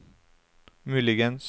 muligens